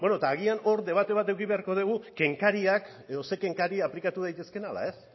bueno eta agian hor debate bat eduki beharko dugu kenkariak edo zein kenkariak aplikatu daitezkeen ala ez